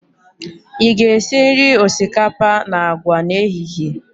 Ị ga-esi nri osikapa na agwa n'ehihie?